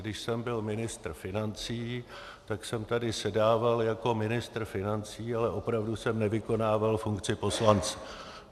Když jsem byl ministr financí, tak jsem tady sedával jako ministr financí, ale opravdu jsem nevykonával funkci poslance.